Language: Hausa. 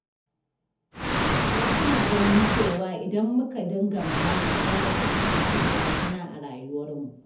Wasu na ganin cewa idan muka dinga magana za mu fuskanci barazana a rayuwarmu.